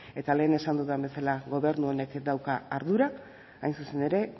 eta lehen esan dudan bezala gobernu honek dauka ardurak hain zuzen ere